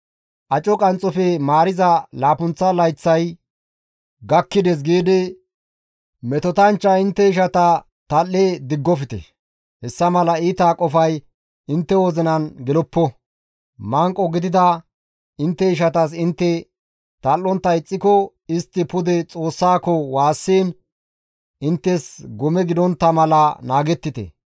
«Aco qanxxofe maariza laappunththa layththay gakkides» giidi metotanchcha intte ishata tal7e diggofte; hessa mala iita qofay intte wozinan geloppo; manqo gidida intte ishatas intte tal7ontta ixxiko istti pude Xoossaako waassiin inttes gome gidontta mala naagettite.